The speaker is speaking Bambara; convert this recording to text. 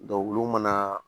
olu mana